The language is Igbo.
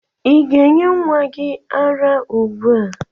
Ị ga-enye nwa gị ara ugbua?